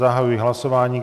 Zahajuji hlasování.